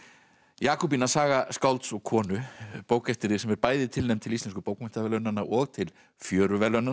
Jakobína saga skálds og konu bók eftir þig sem er bæði tilnefnd til Íslensku bókmenntaverðlaunanna og til